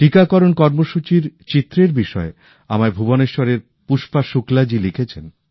টিকাকরণ কর্মসূচির বিষয়ে আমায় ভুবনেশ্বরের পুষ্পা শুক্লাজি লিখেছেন